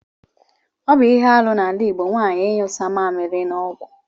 Ọbụ ihe arụ na ala igbo nwanyi inyụsa mamili na ọgwụ.